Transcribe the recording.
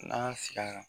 N'an y'a sigi yan